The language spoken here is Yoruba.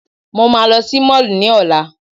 Mo máa lọ sí Mall ní Ọ̀la.